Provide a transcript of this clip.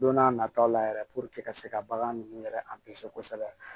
Don n'a nataw la yɛrɛ ka se ka bagan ninnu yɛrɛ kosɛbɛ